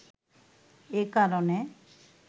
এ কারণে